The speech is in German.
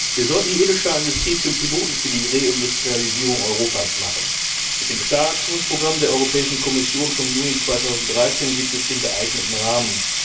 Wir sollten die Edelstahlindustrie zum Piloten für die Reindustrialisierung Europas machen. Mit dem Stahlaktionsprogramm der Kommission vom Juni 2013 gibt es den geeigneten Rahmen.